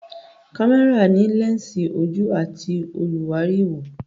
Kámẹ́rà ní lẹ́ǹsì, ojú àti olùwárí ìwò.